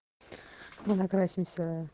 мы накрасимся